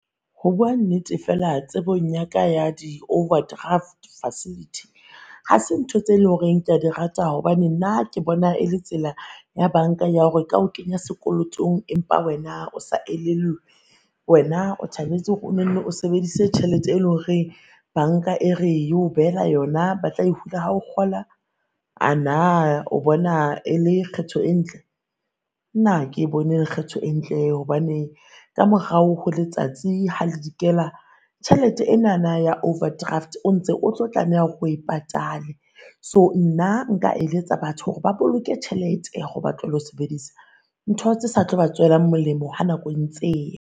Ho bua nnete feela tsebong yaka ya di-overdraft facility ha se ntho tse lo reng ke a di rata, hobane nna ke bona e le tsela ya banka ya hore e ka o kenya sekolotong empa wena o sa elellwe. Wena o thabetse hore o no no o sebedise tjhelete e lo reng banka e re e o behela yona ba tla e hula ha o kgola. Ana o bona e le kgetho e ntle? Nna a ke bone e le kgetho e ntle hobane ka morao ho letsatsi ha le dikela tjhelete enana ya overdraft, o ntse o tlo tlameha hore o e patale. So nna nka eletsa batho hore ba boloke tjhelete hore ba tlohele ho sebedisa ntho tse sa tlo ba tswela molemo ha nako e ntse e ya.